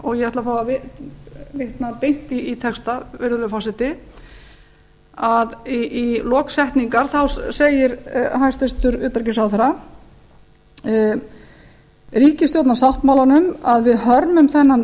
og ég ætla að fá að vitna beint í texta virðulegi forseti í lok setningar segir hæstvirtur utanríkisráðherra ríkisstjórnarsáttmálanum að við hörmum þennan